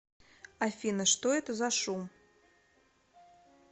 афина что это за шум